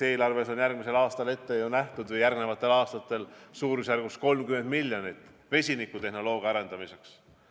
Eelarves on järgmisel aastal või järgmistel aastatel eraldatud suurusjärgus 30 miljonit vesinikutehnoloogia arendamiseks.